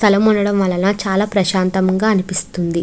స్థలం ఉండటం వల్ల చాలా ప్రశాంతంగా ఉంటుంది.